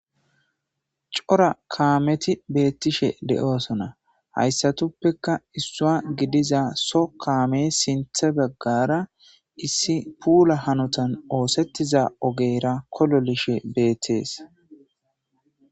cora kaameti beettishe de7oosona hayssatuppeka issuwa gidiza so kaame sinthe baggara issi puula hanotan oosettiza ogeyra kololishe beettees